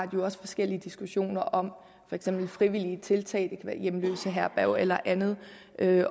jo også forskellige diskussioner om for eksempel frivillige tiltag det kan være hjemløseherberg eller andet